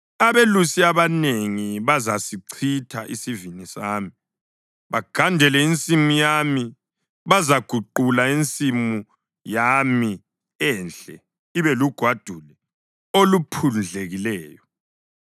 Abelusi abanengi bazasichitha isivini sami bagandele insimu yami; bazaguqula insimu yami enhle ibe lugwadule oluphundlekileyo.